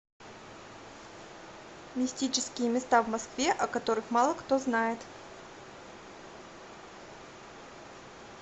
мистические места в москве о которых мало кто знает